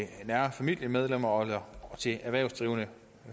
nære familiemedlemmer og til erhvervsdrivende